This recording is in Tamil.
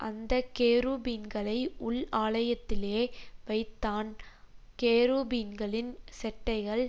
அந்த கேருபீன்களை உள் ஆலயத்திலே வைத்தான் கேருபீன்களின் செட்டைகள்